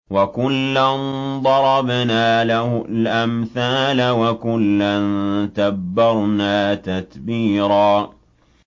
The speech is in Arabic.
وَكُلًّا ضَرَبْنَا لَهُ الْأَمْثَالَ ۖ وَكُلًّا تَبَّرْنَا تَتْبِيرًا